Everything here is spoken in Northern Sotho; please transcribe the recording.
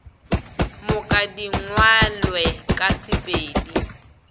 moka di ngwalwe ka sepedi